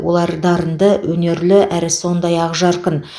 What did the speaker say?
олар дарынды өнерлі әрі сондай ақжарқын